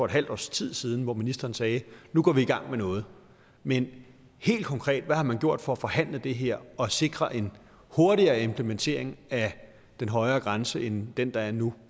et halvt års tid siden hvor ministeren sagde at nu går vi i gang med noget men helt konkret hvad har man gjort for at forhandle det her og sikre en hurtigere implementering af den højere grænse end den der er nu